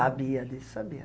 Sabia disso, sabia.